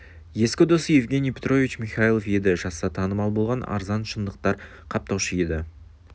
ескі досы евгений петрович михайлов еді жазса татымал болған арзан шындықтар қаптаушы еді